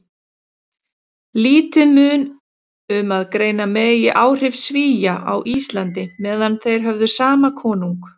Lítið mun um að greina megi áhrif Svía á Íslandi meðan þeir höfðu sama konung.